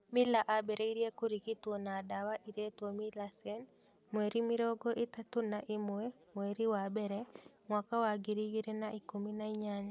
Mila ambĩrĩirie kũrigitwo na ndawa ĩretwo Milasen mweri mĩrongo ĩtatũ na ĩmwe mweri wa mbere mwaka wa ngiri igĩrĩ na ikũmi na inyanya.